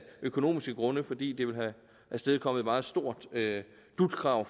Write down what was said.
økonomiske grunde fordi det ville have afstedkommet et meget stort slutkrav